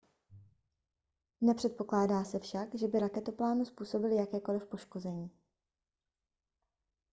nepředpokládá se však že by raketoplánu způsobily jakékoliv poškození